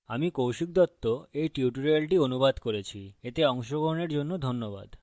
আমি কৌশিক দত্ত এই tutorial অনুবাদ করেছি এতে অংশগ্রহনের জন্য ধন্যবাদ